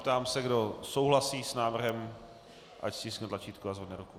Ptám se, kdo souhlasí s návrhem, ať stiskne tlačítko a zvedne ruku.